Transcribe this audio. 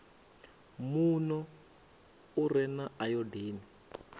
muno u re na ayodini